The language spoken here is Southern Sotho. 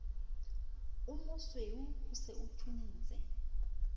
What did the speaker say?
omosweu o se o thuntse